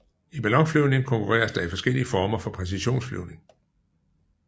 I ballonflyvning konkurreres der i forskellige former for præcisionsflyvning